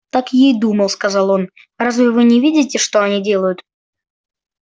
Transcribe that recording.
так я и думал сказал он разве вы не видите что они делают